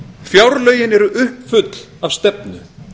fjárlögin eru uppfull af stefnu